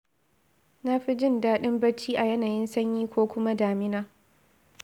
Na fi jin daɗin bacci a yanayin sanyi ko kuma damina.